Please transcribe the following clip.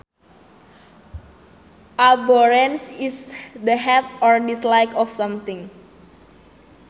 Abhorrence is the hate or dislike of something